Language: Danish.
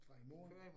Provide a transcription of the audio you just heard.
Fra i morgen